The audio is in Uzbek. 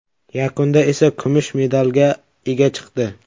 Yakunda esa kumush medalga ega chiqdi.